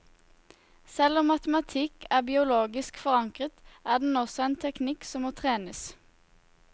Selv om matematikk er biologisk forankret, er den også en teknikk som må trenes.